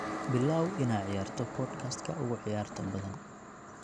bilow inaad ciyaarto podcast-ka ugu ciyaarta badan